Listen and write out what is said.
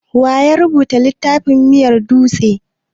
Waya rubuta littafin miyar dutse?